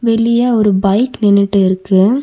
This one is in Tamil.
வெளிய ஒரு பைக் நின்னுட்டு இருக்கு.